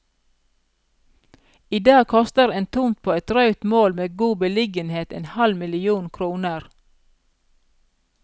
I dag koster en tomt på et drøyt mål med god beliggenhet en halv million kroner.